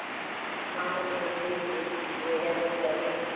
মাকে ব্যাথা দিয়ে কি ভুলে যাওয়া চলে?